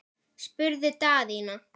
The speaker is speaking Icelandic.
spurði Daðína.